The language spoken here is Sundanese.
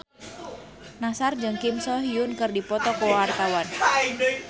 Nassar jeung Kim So Hyun keur dipoto ku wartawan